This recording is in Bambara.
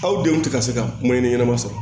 Aw denw tɛ ka se ka kuma ɲɛnɛ ɲɛnama sɔrɔ